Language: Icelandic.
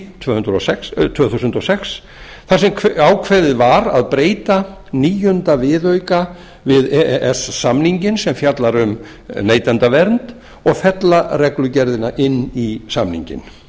tvö þúsund og sex frá sjöunda júlí tvö þúsund og sex þar sem ákveðið var að breyta nítjánda viðauka við e e s samninginn sem fjallar um neytendavernd og fella reglugerðina í samninginn